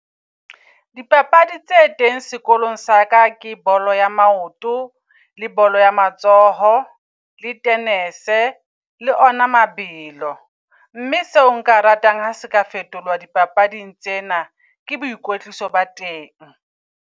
Dipapadi tse teng sekolong sa ka ke bolo ya maoto, le bolo ya matsoho, le tennis, le ona mabelo. Mme seo nka ratang ha se ka fetolwa dipapading tsena ke boikwetliso ba teng.